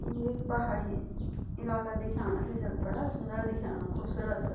यु एक पहाड़ी इलाका दिख्याणु च जख बड़ा सुन्दर दिख्याणु खुबसूरत सा।